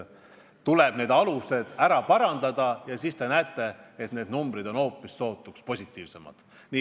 Tuleb võrdlemise alus ära parandada ja siis te näete, et need numbrid on hoopis positiivsemad.